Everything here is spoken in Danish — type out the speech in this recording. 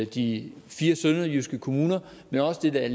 de fire sønderjyske kommuner men også det der